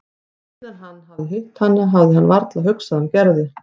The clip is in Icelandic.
Síðan hann hafði hitt hana hafði hann varla hugsað um Gerði.